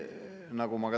Aitäh, Mart!